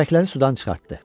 Kürəkləri sudan çıxartdı.